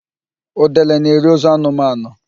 Udele na-eri ozu anụmanụ